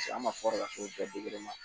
an ma fɔr'a k'o bɛɛ